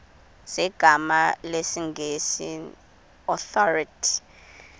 zegama lesngesn authorit